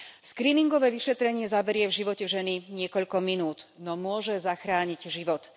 Skríningové vyšetrenie zaberie v živote ženy niekoľko minút, no môže zachrániť život.